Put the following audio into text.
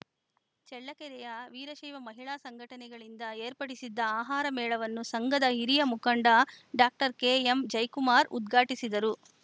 ಚಳ್ಳಕೆರೆಯ ವೀರಶೈವ ಮಹಿಳಾ ಸಂಘಟನೆಗಳಿಂದ ಏರ್ಪಡಿಸಿದ್ದ ಆಹಾರ ಮೇಳವನ್ನು ಸಂಘದ ಹಿರಿಯ ಮುಖಂಡ ಡಾಕ್ಟರ್ ಕೆಎಂಜಯಕುಮಾರ್‌ ಉದ್ಘಾಟಿಸಿದರು